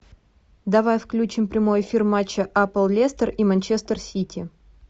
давай включим прямой эфир матча апл лестер и манчестер сити